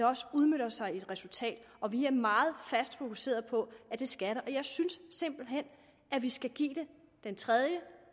også udmønter sig i et resultat og vi er meget fast fokuseret på at det skal det og jeg synes simpelt hen at vi skal give det den tredje